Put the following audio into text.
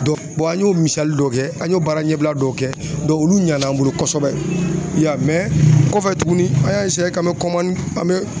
Dɔ an y'o misali dɔ kɛ an y'o baara ɲɛbila dɔw kɛ olu ɲana an bolo kosɛbɛ yan o kɔfɛ tuguni an y'a k'an bɛ an bɛ